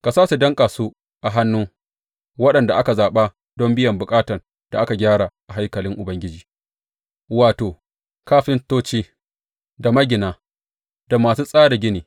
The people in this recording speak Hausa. Ka sa su danƙa su a hannun waɗanda aka zaɓa don biyan ma’aikatan da suka yi gyara a haikalin Ubangiji, wato, kafintoci, da magina, da masu tsara gini.